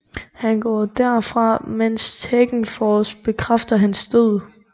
Han går derfra mens Tekken Force bekræfter hans død